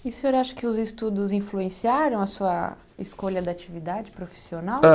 E o senhor acha que os estudos influenciaram a sua escolha da atividade profissional? Ah